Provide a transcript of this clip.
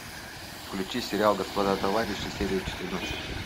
включи сериал господа товарищи серия четырнадцать